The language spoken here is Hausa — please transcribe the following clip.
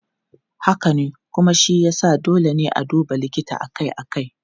Haka ne, kuma shi ya sa dole ne a duba likita akai-akai.